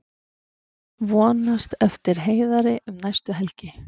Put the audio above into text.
Vonast eftir Heiðari um næstu helgi